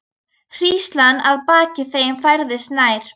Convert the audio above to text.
Hríslan að baki þeim færðist nær.